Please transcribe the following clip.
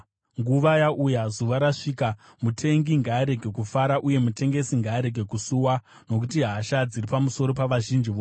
Nguva yauya, zuva rasvika. Mutengi ngaarege kufara uye mutengesi ngaarege kusuwa, nokuti hasha dziri pamusoro pavazhinji vose.